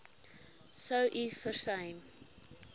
sou u versuim